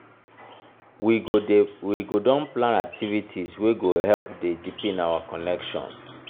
we go don plan activities wey go help dey deepen our connection.